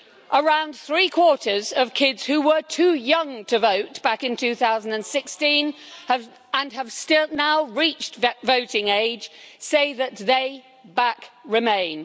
Around three quarters of kids who were too young to vote back in 2016 and have now reached that voting age, say that they back remain.